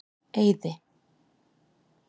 Eiði